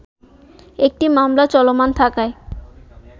একটি মামলা চলমান থাকায়